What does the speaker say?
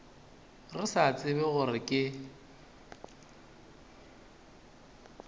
re sa tsebe gore ke